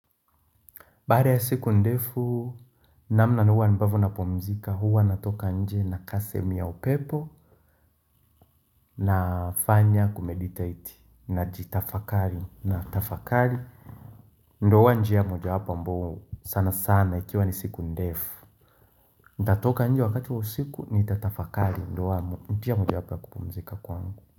Baada ya siku ndefu, namna mimi huwa ambavyo napumzika huwa natoka nje na kaa sehemu ya upepo na fanya kumediteti najitafakari na tafakari ndo huwa njia moja wapo ambao sana sana ikiwa ni siku ndefu natoka nje wakati wa usiku nitatafakari ndio njia mojawapo ya kupumzika kwangu.